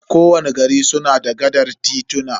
Ko wani gari suna da gaɗar tituna.